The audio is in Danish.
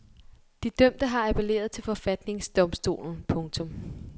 De dømte har appelleret til forfatningsdomstolen. punktum